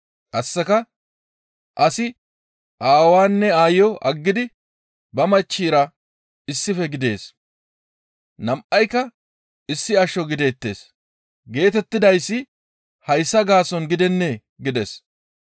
Qasseka, ‹Asi ba aawaanne ba aayo aggidi ba machchira issife gidees. Nam7ayka issi asho gideettes› geetettidayssi hayssa gaason gidennee? gides.